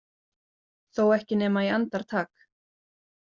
Þó ekki nema í andartak.